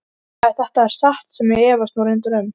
Ef þetta er satt sem ég efast nú reyndar um.